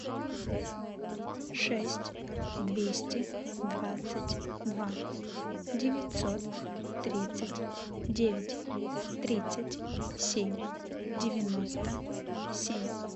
шесть двести двадцать два девятьсот тридцать девять тридцать семь девяносто семь